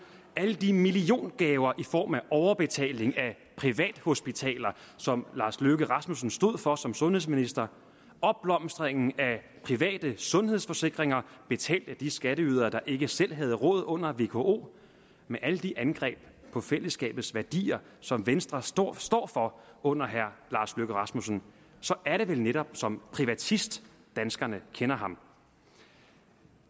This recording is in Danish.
jeg alle de millionergaver i form af overbetaling af privathospitaler som lars løkke rasmussen stod for som sundhedsminister opblomstringen af private sundhedsforsikringer betalt af de skatteydere der ikke selv havde råd under vko med alle de angreb på fællesskabets værdier som venstre står står for under herre lars løkke rasmussen så er det vel netop som privatist danskerne kender ham